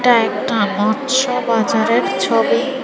এটা একটা মৎস্য বাজারের ছবি।